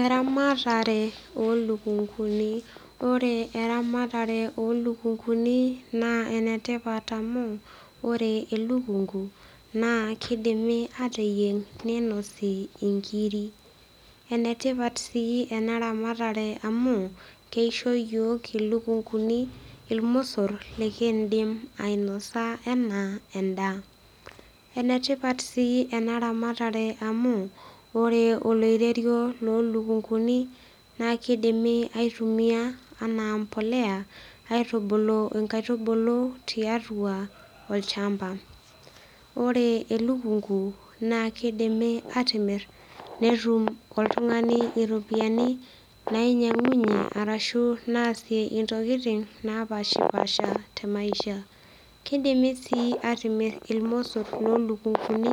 Eramatare olukunguni ore eramatare olukunguni naa enetipat amu ore elukungu naa kidimi ateyieng ninosi inkiri enetipat sii ena ramatare amu keisho iyiok ilukunguni ilmosorr likindim ainosa enaa endaa enetipat sii ena ramatare amu ore oloirerio lolukunguni naa kidimi aitumia anaa mpoleya aitubulu inkaitubulu tiatua olchamba ore elukungu naa kidimi atimirr netum oltung'ani iropiyiani nainyiang'unyie arashu naasie intokitin napashipasha te maisha kidimi sii atimirr ilmosorr lolukunguni